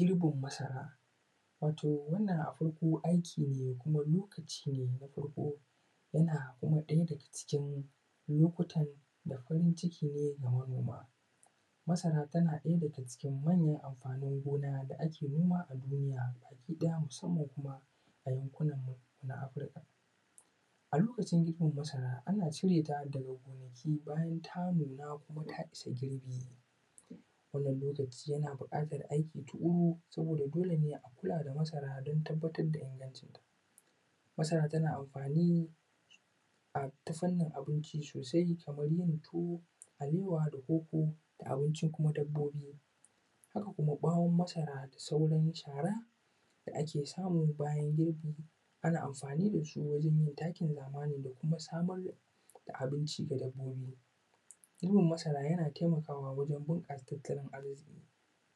Mirbin masara, wato wannan a farko aiki ne kuma lokaci ne na farko yana kuma ɗaya daga cikin lokutan da farin ciki ne ga manoma, masara tana ɗaya daga cikin manyan amfanin gona da ake noma a duniya gida hamsin ne kuma a yankunan mu na afirika a lokacin girbin masara ana cire ta daga gonaki bayan ta nuna kuma ta iya girbi wannan lokaci yana buƙatar aiki tuƙuru saboda dole ne a kula masara don tabbatar da ingancin ta masara tana amfani a ta fannin abincin sosai kamar yin tuwo, alewa, da koko da abincin kuma dabbobi, haka kuma ɓawon masara da sauran shara da ake samu bayan girbi ana amfani da su wajen yin takin zamani da kuma samar da abinci ga dabbobi, girbin masara yana taimakawa wajen bunƙasa tattalin arziƙi